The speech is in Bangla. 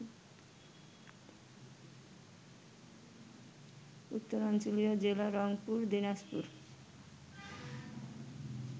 উত্তরাঞ্চলীয় জেলা রংপুর, দিনাজপুর